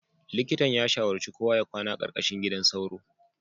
Likitan ya shawarci kowa ya kwana a ƙarƙashin gidan sauro